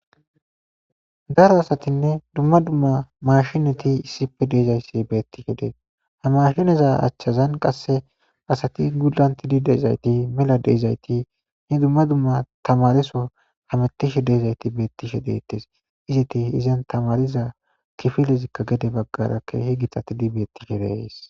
daro asatinne dumma dumma mashshineti issippe de'izayssi betiishshe dees ha mashineza achchazan qasse asati gulantiidi de'izayti mela de'izayti he dumma dumma tamaresoo hametiishshe de'izayti betiishshe detees izeti izan tamariza kifilezikka gede baggara ke'hi gitatiidi betishshin be'ayssi